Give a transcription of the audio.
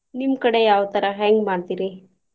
ನಿಮ್ಮ್ ಕಡೆ ಯಾವ್ ತರಾ ಹೆಂಗ್ ಮಾಡ್ತಿರಿ?